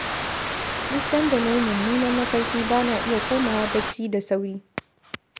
Duk sanda na yi mummunan mafarki ba na iya komawa bacci da sauri.